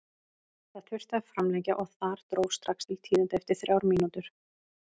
Það þurfti að framlengja og þar dró strax til tíðinda eftir þrjár mínútur.